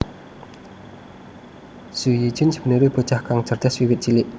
Zhu Yijun sebenere bocah kang cerdas wiwit cilik